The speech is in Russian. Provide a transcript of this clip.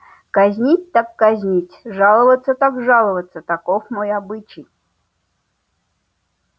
казнить так казнить жаловаться так жаловаться таков мой обычай